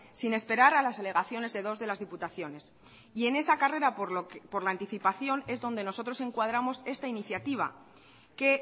sin esperar a las alegaciones de dos de las diputaciones y en esa carrera por la anticipación es donde nosotros encuadramos esta iniciativa que